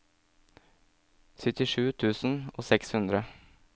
syttisju tusen og seks hundre